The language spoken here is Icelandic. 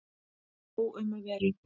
Nóg um að vera